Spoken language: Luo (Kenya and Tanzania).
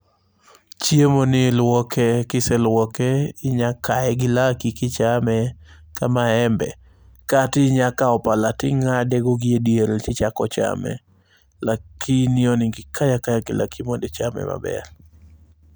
Chiemoni iluoke. Kise luoke, inya kaye gi laki kichame kamaembe. Katinya kawo pala ting'adego giediere tichako chame. Lakini onego ikaye akaqya gi laki mondo ichame maber.